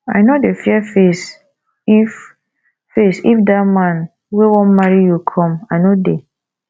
i no dey fear face if face if dat man wey wan marry you come i no dey